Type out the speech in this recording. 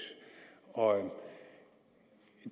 og